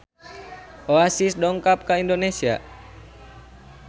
Oasis dongkap ka Indonesia